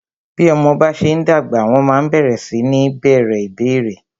Bí ọmọ bá ṣe ń dàgbà, wọ́n ma ń bẹ̀rẹ sí ní bèèrè ìbéérè.